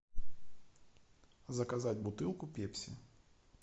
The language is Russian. заказать бутылку пепси